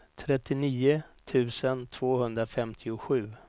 trettionio tusen tvåhundrafemtiosju